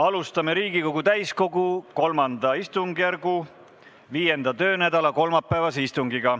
Alustame Riigikogu täiskogu III istungjärgu 5. töönädala kolmapäevast istungit.